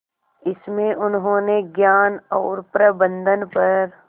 इसमें उन्होंने ज्ञान और प्रबंधन पर